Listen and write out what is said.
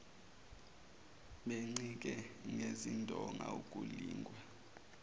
bencike ngezindonga ukulingwa